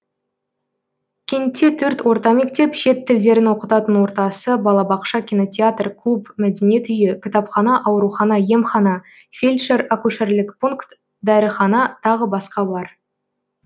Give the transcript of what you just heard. кентте төрт орта мектеп шет тілдерін оқытатын ортасы балабақша кинотеатр клуб мәдениет үйі кітапхана аурухана емхана фелдьшер акушерлік пункт дәріхана тағы басқа бар